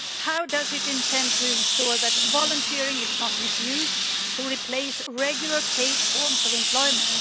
How does it intend to ensure that volunteering is not misused to replace regular paid forms of employment?